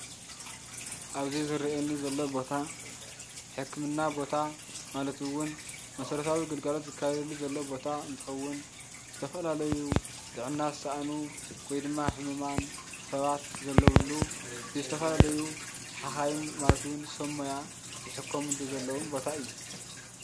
ኣብዚ ዝረኣየኒ ዘሎ ቦታ ሕክምና ቦታ ማለት እውን መሰረታዊ ግልጋሎት ዝካየደሉ ዘሎ ቦታ እንትከውን ዝተፈላለዩ ጥዕና ዝሰኣኑ ወይድማ ሕሙማን ሰባት ዘለውሉ ብዝተፈላለዩ ሓካይም ማለት እውን ሰብሞያ ዝሕከሙሉ ዘለውን ቦታ እዩ።